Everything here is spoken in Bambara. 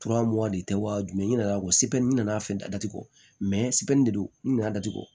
de tɛ wa jumɛn ye ɲin'a kɔ n nana fɛn da datugu de do n nana datugu